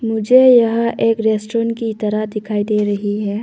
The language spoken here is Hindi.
मुझे यह एक रेस्टोरेंट की तरह दिखाई दे रही है।